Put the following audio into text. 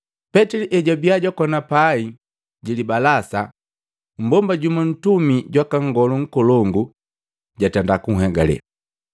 Petili ejwabia jwakona pai jili balasa, mmbomba jumu ntumi jwaka Nngolu Nkolongu jatenda kuhegale.